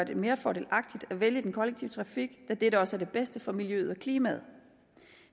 det mere fordelagtigt at vælge den kollektive trafik da dette også er det bedste for miljøet og klimaet